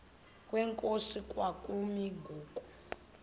kwenkosi kwakumi ngoku